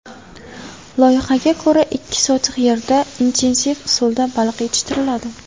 Loyihaga ko‘ra, ikki sotix yerda intensiv usulda baliq yetishtiriladi.